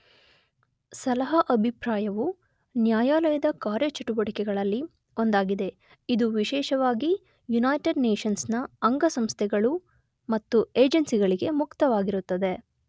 ಸಲಹಾ ಅಭಿಪ್ರಾಯವು ನ್ಯಾಯಾಲಯದ ಕಾರ್ಯಚಟುವಟಿಗಳಲ್ಲಿ ಒಂದಾಗಿದೆ.ಇದು ವಿಶೇಷವಾಗಿ ಯುನೈಟೆಡ್ ನೇಶನ್ಸ್ ನ ಅಂಗಸಂಸ್ಥೆಗಳು ಮತ್ತು ಏಜೆನ್ಸಿಗಳಿಗೆ ಮುಕ್ತ ವಾಗಿರುತ್ತದೆ.